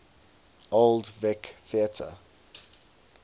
old vic theatre